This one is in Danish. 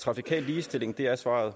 trafikal ligestilling er svaret